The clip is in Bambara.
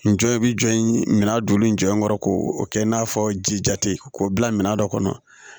N jɔ i bi jɔ in min na don min jɔ in kɔrɔ ko o kɛ in n'a fɔ ji jate k'o bila minan dɔ kɔnɔ